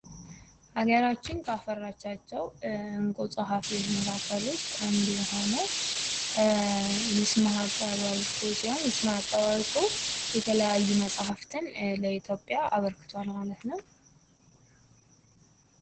ሀገራችን ካፈራቻቸው እንቁ ፀሐፊዎች መካከል አንዱ የሆነው ይስማከ ወርቁ ሲሆን ይስማከ ወርቁ የተለያዩ መፃህፍትን ለኢትዮጵያ አበርክቷል ።